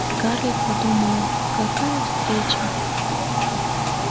скарлетт подумала какая встреча